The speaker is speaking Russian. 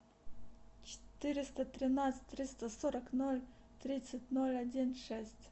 четыреста тринадцать триста сорок ноль тридцать ноль один шесть